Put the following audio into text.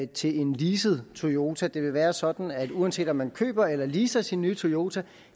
til en leaset toyota det vil være sådan at uanset om man køber eller leaser sin nye toyota